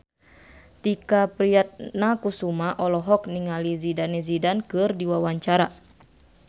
Tike Priatnakusuma olohok ningali Zidane Zidane keur diwawancara